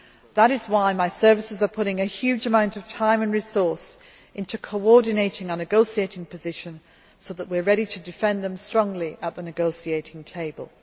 That is why my services are putting a huge amount of time and resources into coordinating our negotiating position, so that we are ready to defend them strongly at the negotiating table.